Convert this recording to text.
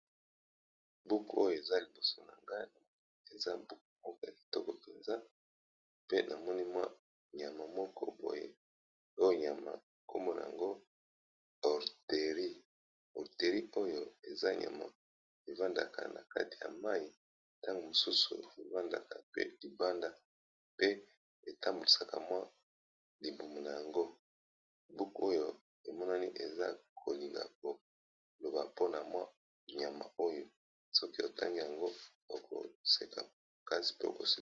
Buku oyo eza liboso na nga eza buku moko ya kitoko penza pe namoni mwa nyama moko boye oyo nyama kombo na ngo orteri orteri oyo eza nyama evandaka na kati ya mai ntango mosusu evandaka pe libanda pe etambusaka mwa libumu na yango buku oyo emonani eza kolinga koloba mpona mwa nyama oyo soki otangi yango okoseka kasi mpe kokosa.